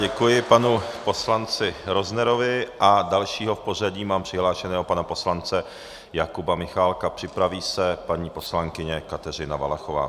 Děkuji panu poslanci Roznerovi a dalšího v pořadí mám přihlášeného pana poslance Jakuba Michálka, připraví se paní poslankyně Kateřina Valachová.